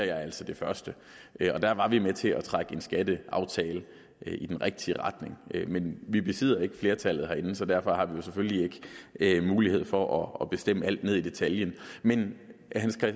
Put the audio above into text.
jeg altså det første og der var vi med til at trække en skatteaftale i den rigtige retning men vi besidder ikke flertallet herinde så derfor har vi selvfølgelig ikke mulighed for at bestemme alt ned i detaljen men